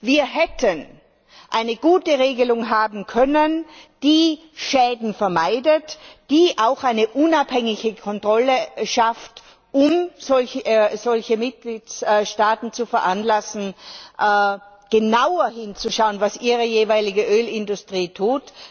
Wir hätten eine gute Regelung haben können, die Schäden vermeidet, die auch eine unabhängige Kontrolle schafft, um solche Mitgliedstaaten zu veranlassen, genauer hinzuschauen, was ihre jeweilige Ölindustrie tut.